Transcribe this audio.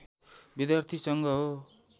विद्यार्थी सङ्घ हो